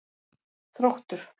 Þróttur